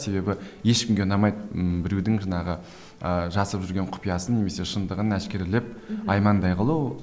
себебі ешкімге ұнамайды ммм біреудің жаңағы ыыы жасырып жүрген құпиясын немесе шындығын әшкерелеп аймандай қылу